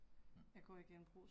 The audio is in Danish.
Mh